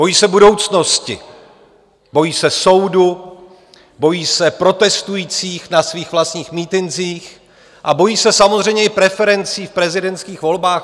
Bojí se budoucnosti, bojí se soudu, bojí se protestujících na svých vlastních mítincích a bojí se samozřejmě i preferencí v prezidentských volbách.